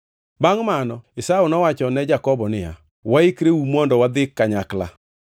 Bangʼ mano Esau nowacho ne Jakobo niya, “Waikreuru mondo wadhi kanyakla.”